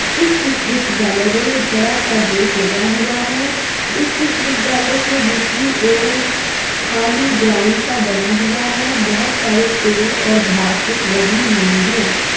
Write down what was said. इस विश्वविध्याल में एक बड़ा सा गेट लगा हुआ है। इस विश्वविद्यालय के दूसरी ओर खाली ग्राउंड सा बना हुआ है। बहोत सारे पेड़ और घास लगी हुई है।